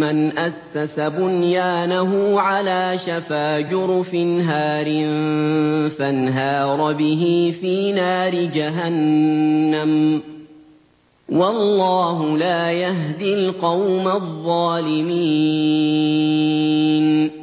مَّنْ أَسَّسَ بُنْيَانَهُ عَلَىٰ شَفَا جُرُفٍ هَارٍ فَانْهَارَ بِهِ فِي نَارِ جَهَنَّمَ ۗ وَاللَّهُ لَا يَهْدِي الْقَوْمَ الظَّالِمِينَ